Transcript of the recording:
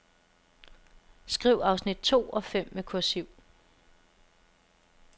Skriv afsnit to og fem med kursiv.